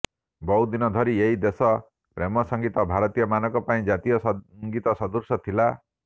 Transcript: ବହୁଦିନ ଧରି ଏହି ଦେଶ ପ୍ରେମ ସଙ୍ଗୀତ ଭାରତୀୟ ମାନଙ୍କ ପାଇଁ ଜାତୀୟ ସଙ୍ଗୀତ ସଦୃଶ ଥିଲା